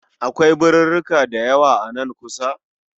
Akwai birirrika dayawa a nan kusa